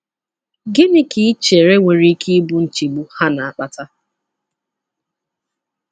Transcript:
Gịnị ka i chere nwere ike ịbụ nchegbu ha na-akpata?